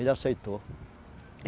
Ele aceitou.